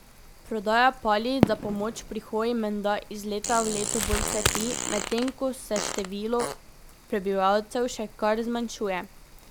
Prodaja palic za pomoč pri hoji menda iz leta v leto bolj cveti, medtem ko se število prebivalcev še kar zmanjšuje.